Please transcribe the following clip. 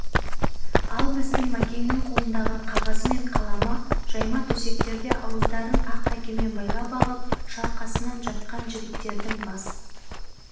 ал біздің мәкеңнің қолында қағазы мен қаламы жайма төсектерде ауыздарын ақ дәкемен байлап алып шалқасынан жатқан жігіттердің бас